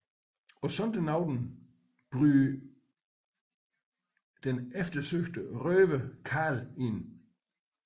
På sådan en aften bryder den eftersøgte røver Carl ind